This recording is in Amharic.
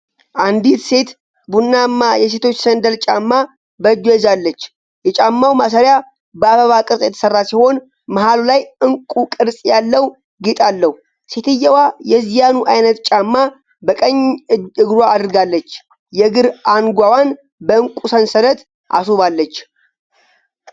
አንዲት ሴት ቡናማ የሴቶች ሰንደል ጫማ በእጇ ይዛለች። የጫማው ማሰሪያ በአበባ ቅርፅ የተሰራ ሲሆን መሀሉ ላይ ዕንቁ ቅርፅ ያለው ጌጥ አለው። ሴትየዋ የዚያኑ አይነት ጫማ በቀኝ እግሯ አድርጋለች። የእግር አንጓዋን በእንቁ ሰንሰለት አስውባዋለች።